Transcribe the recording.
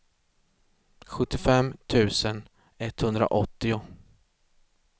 sjuttiofem tusen etthundraåttio